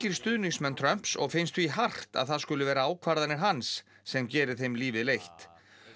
stuðningsmenn Trumps og finnst því hart að það skuli vera ákvarðanir hans sem geri þeim lífið leitt